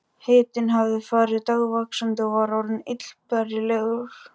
Hitinn hafði farið dagvaxandi og var orðinn illbærilegur.